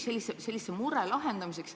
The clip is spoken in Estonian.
Sellise mure lahendamiseks ...